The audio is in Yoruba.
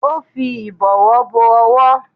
Ó fi ìbọwọ́ bo owó